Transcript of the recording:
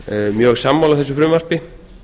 mjög sammála þessu frumvarpi